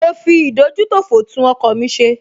Mo fi ìdójútòfò tún ọkọ̀ mi ṣe